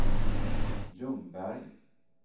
Ljungberg